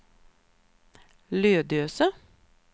Lödöse